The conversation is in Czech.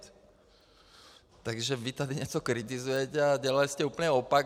Takže vy tady něco kritizujete, a dělali jste úplný opak.